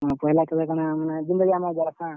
ପହେଲା ଥିଲେ କାଣା ମାନେ ଜେନ୍ ଟା ବି ଆମର୍ ଦ୍ବାରା ~ଣା।